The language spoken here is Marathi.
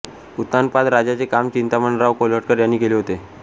उत्तानपाद राजाचे काम चिंतामणराव कोल्हटकर यांनी केले होते